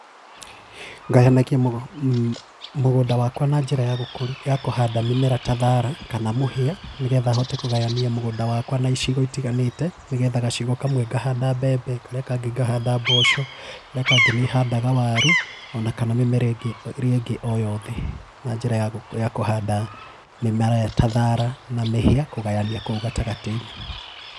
Ngayanagia mũgũnda wakwa na njĩra ya gũkũri ya kũhanda mĩmera ta thaara kana mũhĩa, nĩgetha hote kũgayania mũgũnda wakwa na icigo itiganĩte, nĩgetha gacigo kamwe ngahanda mbembe, karĩa kangĩ ngahanda mboco, karĩa kangĩ nĩ handaga waru ona kana mĩmera ingĩ ĩrĩa ĩngĩ o yothe, na njĩra ya kũhanda mĩmera ta thaara na mĩhĩa kũgayania kũu gatagatĩ-inĩ.